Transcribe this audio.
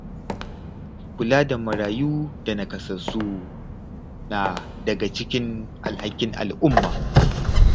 Kula da marayu da nakasassu na daga cikin alhakin al’umma.